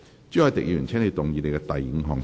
朱凱廸議員，請動議你的第五項修正案。